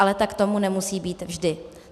Ale tak tomu nemusí být vždy.